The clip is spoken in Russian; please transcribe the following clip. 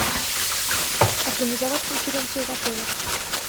организовать конференцию в отеле